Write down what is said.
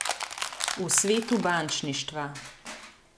V svetu bančništva.